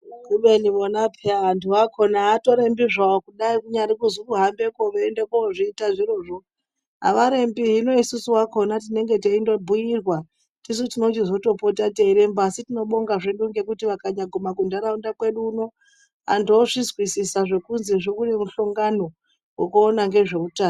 Kubeni vona peya vantu vakhona avatorembi zvawo kudayi kunyari kuzwi kuhambekeo veiende kozviita zvirozvo avarembi hino isusu vakhona tinenge teindobhuirwa tisu tinochizotopota teiremba asi tinobonga hedu ngekuti vakanyaguma kuntaraunda kwedu uno Antu ozvizwisisa zvo zvekuzi kune muhlongano wekuona ngezveutano.